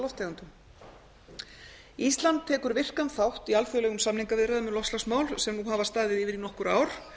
á gróðurhúsalofttegundum ísland tekur virkan þátt í alþjóðlegum samningaviðræðum um loftslagsmál sem nú hafa staðið yfir í nokkur ár